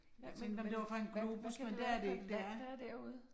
Jeg tænkte om det var fra en globus, men det er det ikke det er en